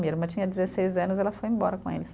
Minha irmã tinha dezesseis anos e ela foi embora com eles.